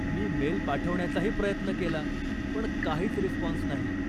मी mail पाठवण्याचाही प्रयत्न केला, पण काहीच रिस्पॉन्स नाही.